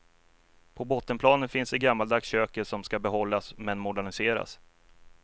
På bottenplanet finns det gammaldags köket, som ska behållas men moderniseras.